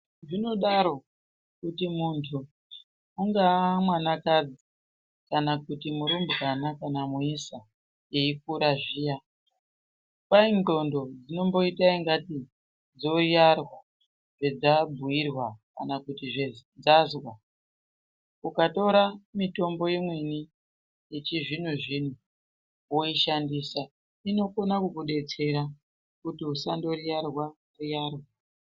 Zvinodaro kuti muntu angava mwana kadzi kana kuti murumbwana kana muisa eyikura zviya kwai ndxondo dzinoita ngatei dzoiyarwa zvadzabhuyirwa kana kutu zvadzazwa ukatora mitombo imweni yechizvino zvino woyishandisa inokone kukudetsera kuti usa ndoyiyarwa yiyarwa.